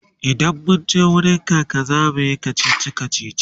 idan munje wurin kaka zamuyi kachichi kachichi